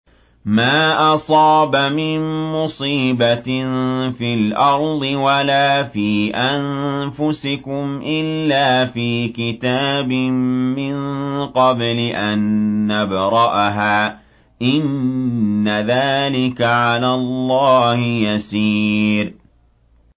مَا أَصَابَ مِن مُّصِيبَةٍ فِي الْأَرْضِ وَلَا فِي أَنفُسِكُمْ إِلَّا فِي كِتَابٍ مِّن قَبْلِ أَن نَّبْرَأَهَا ۚ إِنَّ ذَٰلِكَ عَلَى اللَّهِ يَسِيرٌ